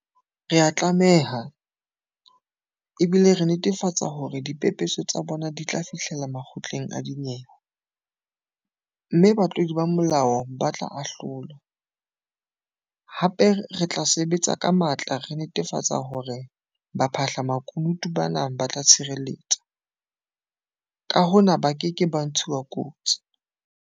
Re a tlameha, ebile re netefatsa hore dipepeso tsa bona di tla fihlella makgotleng a dinyewe, mme batlodi ba molao ba tla ahlolwa, hape re tla sebetsa ka matla re netafatsa hore baphahla-makunutu bana ba tla tshireletswa, ka hona ba keke ba ntshuwa kotsi.